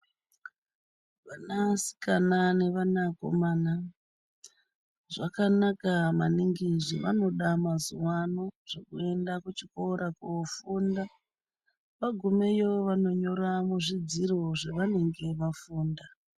Vana sikana nevana komana zvakanaka maningi zvavanoda mazuvano zvekuenda kuchikora kofunda vagumeyo vanonyora muzvi dziro zvavanenge vafunda.